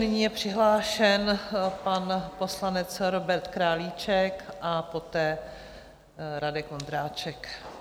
Nyní je přihlášen pan poslanec Robert Králíček a poté Radek Vondráček.